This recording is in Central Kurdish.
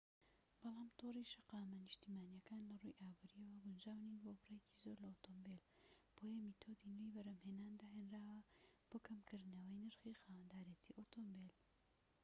بەڵام تۆڕی شەقامە نیشتیمانیەکان لەڕووی ئابوریەوە گونجاو نین بۆ بڕێکی زۆر لە ئۆتۆمبیل بۆیە میتۆدی نوێی بەرهەمهێنان داهێنراوە بۆ کەمکردنەوەی نرخی خاوەندارێتی ئۆتۆمبیل